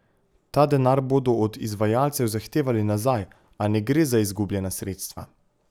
Ta denar bodo od izvajalcev zahtevali nazaj, a ne gre za izgubljena sredstva.